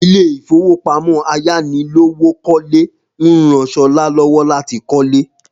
Ilé ìfowópamọ́ ayánilówókọ́lé ń rán Sola lọ́wọ́ láti kọ́lé